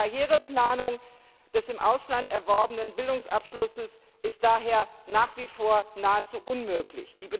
Karriereplanung auf Grundlage des im Ausland erworbenen Bildungsabschlusses ist daher nach wie vor nahezu unmöglich.